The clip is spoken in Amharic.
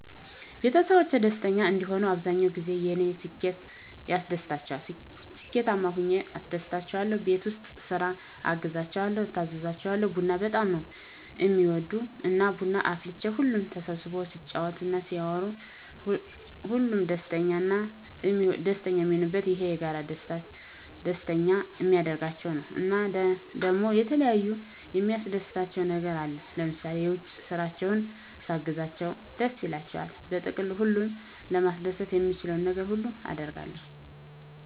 ቤተሰቦቼ ደስተኛ እንዲሆኑ አብዛኛዉ ጊዜ የኔ ስኬት ያስደስታቸዋል ስኬታማ ሁኘ አስደስታቸዋለሁ፣ ቤት ዉስጥ ስራ አግዛቸዋለሁ፣ እታዘዛቸዋለሁ፣ ቡና በጣም ነዉ እሚወዱ እና ቡና አፍልቼ ሁሉም ተሰብስቦ ሲጫወት እና ሲያወሩ ሁሉም ደስተኛ ነዉ እሚሆኑት፣ ይሄ የጋራ ደስተኛ እሚያደርጋቸዉ ነዉ። እና ደሞ የተለያየ የሚያስደስታቸዉ ነገር አለ ለምሳሌ የዉጭ ስራቸዉን ሳግዛቸዉ ደስ ይላቸዋል። በጥቅሉ ሁሉን ለማስደሰት የምችለዉን ነገር ሁሉ አደርጋለሁ።